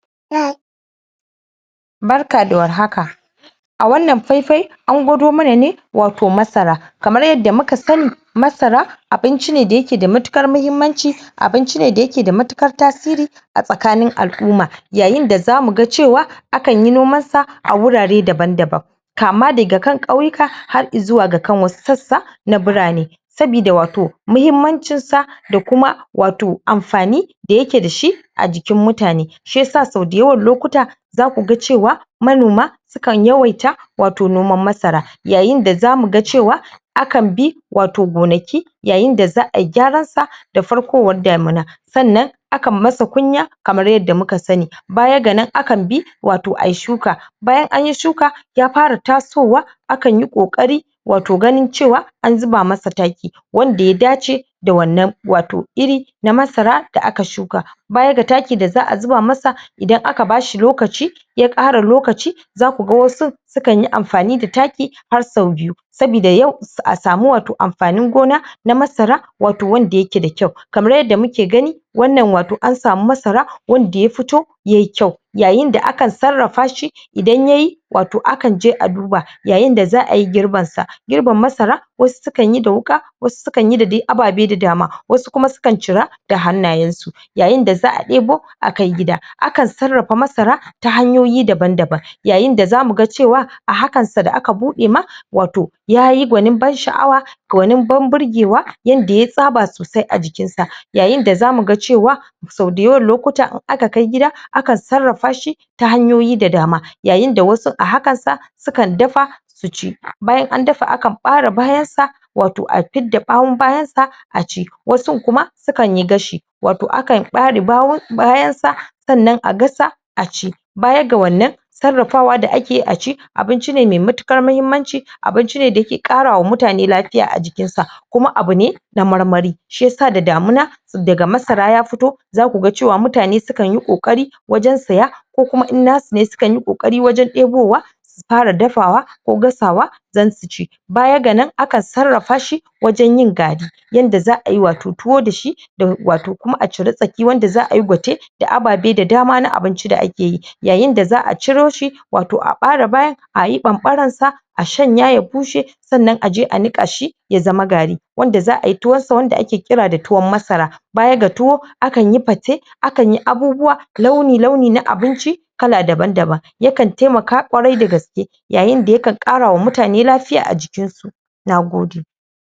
Barka da warhaka a wannan faifai an gwado mana ne wato masara kamar yadda muka sani masara abinci ne da ya ke da matukar mahimanci abinci ne da ya ke da matukar tasiri a tsakanin al'uma yayin da za mu gan cewa a kan yi noman sa a wurare daban daban kama da ga kan kauyuka har izuwa da ga kan wasu tsatsa na burame sabida wato mahimancin sa, da kuma wato amfani da ya ke da shi a jikin mutane shiyasa so dayawan lokuta za ku gan cewa manoma su kan yawaita wato noman masara yayin da za mu gan cewa a kan bi wato gonaki yayin da za a yi gyaran sa da farkowan damina sannan a kan yi musu kunya kamar yadda muka sani baya ga nan, a kan bi wato ayi shuka bayan anyi shuka ya fara tasowa a kan yi kokari wato ganin cewa an zuba masa taki wanda ya dace da wannan wato iri masara da aka shuka baya ga taki da za a zuba masa idan aka bashi lokaci ya kara lokaci za ku gan wasun su kan yi amfani da taki har so biyu sabida yau sai a sami wato amfanin gona na masara wato wanda ya ke da kyau kamar yadda muke gani wannan wato an sami masara wanda ya fito yayi kyau yayin da akan tsarafa shi idan ya yi wato a kan je a duba yayin da za a yi girban sa girban masara wasu su kan yi da wuka wasu su kan yi dai da ababe da dama, wasu su kan cira da hannayen su yayin da za a debo a kai gida, a kan tsarafa masara ta hanyoyi daban daban yayin da za mu gan cewa a hakan sa da aka bude ma, wato yayi gwanin ban sha'awa kawanin ban burgewa yadda ya tsaba sosai a jikin sa yayin da za mu gan cewa so dayawan lokuta, in aka kai gida, a kan tsarafa shi ta hanyoyi da dama yayin da wasu a hakan sa su kan dafa su ci, bayan an dafa, a kan bare bayan sa wato a fida bawon bayan sa a ci, wasun kuma su kan yi gashi wato a kan bare bawon bayan sa sannan a gasa a ci baya ga wannan tsarafawa da ake yi, a ci abinci ne mai matukar mahimanci abinci ne da ya ke kara wa mutane lafiya a jikin sa kuma abu ne na marmari shiyasa da damina da ga masara ya fito za ku gan cewa, mutane su kan yi kokari wajen siya ko kuma in na su ne, su kan yi kokari wajen debo wa su fara dafawa ko gasawa dan su ci baya ga nan, a kan tsarafa shi wajen yin garri yanda za a yi wato tuwo da shi da wato kuma a cire tsaki wanda za ayi gwate da ababe da dama na abinci da ake yi yayin da za a ciro shi wato a barra bayan ayi bambaran sa a shanya, ya bushe sannan a je a nika shi ya zama garri wanda za ayi tuwon sa, wanda ake kira da tuwon masara baya ga tuwo a kan yi pate a kan yi abubuwa launi launi na abinci kala daban daban ya kan taimaka kwarai da gaske yayin da ya kan kara wa mutane lafiya a jikin su na gode